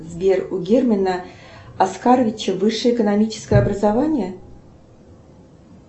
сбер у германа аскаровича высшее экономическое образование